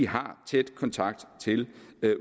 har tæt kontakt til